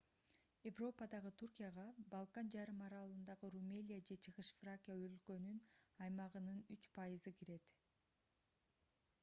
европадагы түркияга балкан жарым аралындагы румелия же чыгыш фракия өлкөнүн аймагынын 3% кирет